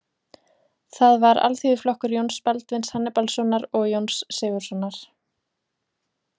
Það var Alþýðuflokkur Jóns Baldvins Hannibalssonar og Jóns Sigurðssonar.